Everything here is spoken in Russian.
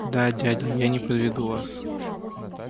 да дядя я не подведу вас